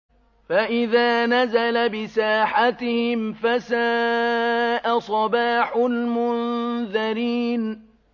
فَإِذَا نَزَلَ بِسَاحَتِهِمْ فَسَاءَ صَبَاحُ الْمُنذَرِينَ